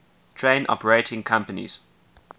train operating companies